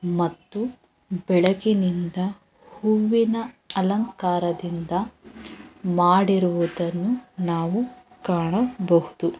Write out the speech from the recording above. ಮತ್ತು ಬೆಳಗಿನಿಂದ ಹೂವಿನ ಅಲಂಕಾರದಿಂದ ಮಾಡಿರುವುದನ್ನು ನಾವು ಕಾಣಬಹುದು.